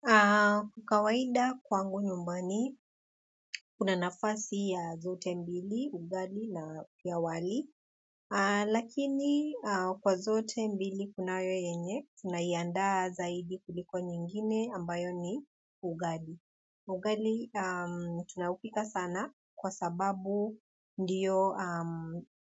Kwa kawaida kwangu nyumbani, kuna nafasi ya zote mbili, ugali na pia wali. Lakini kwa zote mbili kunayo yeye tunaandaa zaidi kuliko nyingine ambayo ni ugali ugali tunaupika sana kwa sababu ndiyo